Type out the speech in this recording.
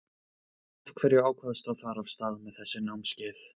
Af hverju ákvaðstu að fara af stað með þessi námskeið?